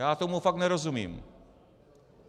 Já tomu fakt nerozumím.